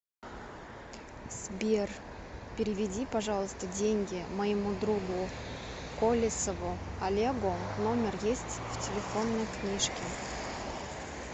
сбер переведи пожалуйста деньги моему другу колесову олегу номер есть в телефонной книжке